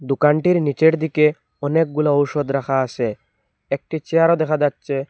দুকানটির নিচের দিকে অনেকগুলা ঔষধ রাখা আসে একটি চেয়ারও দেখা যাচ্চে।